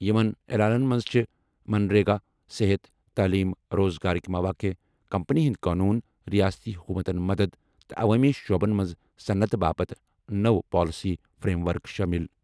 یِمَن اعلانَن منٛز چھِ منریگا، صحت، تعلیم، روزگارٕک مواقع، کمپنی ہٕنٛدۍ قونوٗن، ریاستی حکومتَن مدد، تہٕ عوٲمی شعبَن منٛز صنعتہٕ باپتھ نٔوۍ پالیسی فریم ورک شٲمِل۔